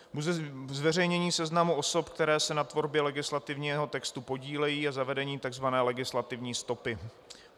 Zveřejnění seznamu osob, které se na tvorbě legislativního textu podílejí, a zavedení tzv. legislativní stopy.